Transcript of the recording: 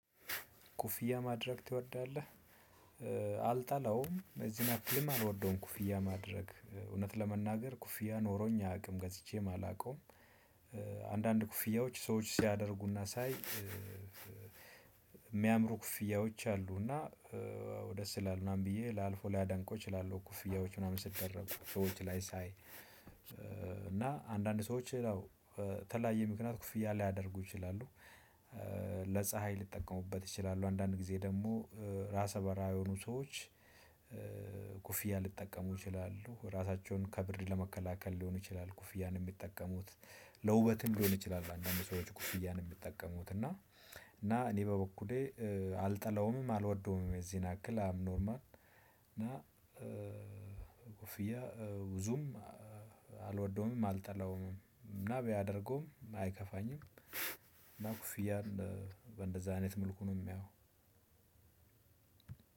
ኮፍያ ማድረግ ትወዳለህ? አልጠላውም እዚህን ያክልም አልወደውም ኮፍያ ማድረግ እውነት ለመናገር ኮፍያ ኖሮኝ አያውቅም ገዝቼም አላውቀውም። አንዳንድ ኮፍያዎች ሰዎች ሲያደርጉና ሳይ እሚያምሩ ኮፍያዎች አሉና ደስ ይላል ምናምን ብዬ ላልፈው ላደንቀው እችላለሁ። ኮፍያዎች ምናምን ሲደረጉ ሰዎች ላይ ሳይ እና አንዳንድ ሰዎች ነው በተለያየ ምክንያት ኮፍያ ሊያደርጉ ይችላሉ። ለፀሀይ ሊጠቀሙበት ይችላሉ አንዳንድ ጊዜ ደሞ ራሰ በራ የሆኑ ሰዎች። ኮፍያ ሊጠቀሙ ይችላሉ ራሳቸውን ከብር ለመከላከል ሊሆን ይችላል ኮፍያን እሚጠቀሙት። ለውበትም ሊሆን ይችላል። አንዳንድ ሰዎች ኮፍያን እሚጠቀሙት እና እና እኔ በበኩሌ አልጠላውምም አልወደውምም የዚህን ያክል አብኖርማል። እና ኮፍያ ብዙም አልወደውምም አልጠላውምም ቢያደርገውም አይከፋኝም። እና ኮፍያን እንደዛ አይነት መልኩ ነው እማየው።